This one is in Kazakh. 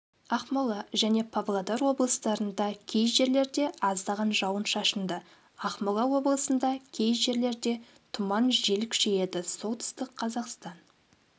ақмола және павлодар облыстарындакей жерлерде аздаған жауын-шашынды ақмола облысында кей жерлерде тұман жел күшейеді солтүстік қазақстан